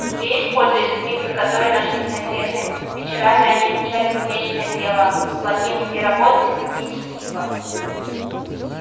здесь пользуясь книгами которые нашлись на ферме вечерами они изучали кузнечное дело плотницкие работы и другие искусства